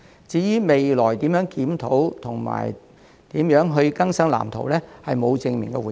至於未來會如何檢討及更新《發展藍圖》，他則沒有正面回應。